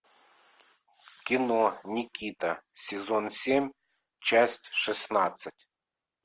кино никита сезон семь часть шестнадцать